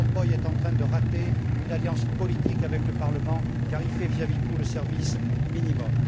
Van Rompuy est en train de rater une alliance politique avec le Parlement car il fait, vis à vis de tout, le service minimum.